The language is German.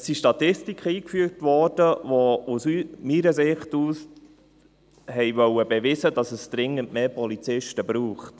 Es wurden Statistiken eingefügt, welche aus meiner Sicht beweisen wollten, dass es dringend mehr Polizisten braucht.